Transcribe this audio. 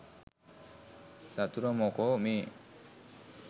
චතුර මොකෝ මේ